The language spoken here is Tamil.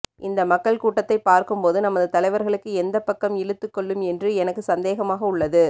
இந்த மக்கள் கூட்டத்தை பார்க்கும் போது நமது தலைவர்களுக்கு எந்தப் பக்கம் இழுத்துக்கொள்ளும் என்று எனக்கு சந்தேகமாக உள்ளது